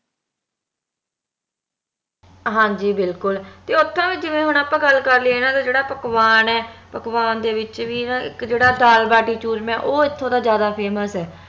ਹਾਂਜੀ ਬਿਲਕੁਲ ਤੇ ਓਥੇ ਜਿਵੇ ਹੁਣ ਆਪਾ ਗੱਲ ਕਰ ਲੀਏ ਇਹਨਾਂ ਦਾ ਜੇਹੜਾ ਪਕਵਾਨ ਆ ਪਕਵਾਨ ਦੇ ਵਿਚ ਵੀ ਨਾ ਇਕ ਜੇਹੜਾ ਦਾਲ ਬਾਟੀ ਚੂਰਮਾ ਆ ਓਹ ਇਥੋਂ ਦਾ ਜਾਦਾ famous ਆ